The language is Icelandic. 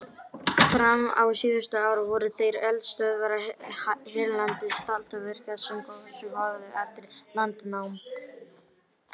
Fram á síðustu ár voru þær eldstöðvar hérlendis taldar virkar sem gosið höfðu eftir landnám.